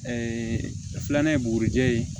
filanan ye bugurijɛ ye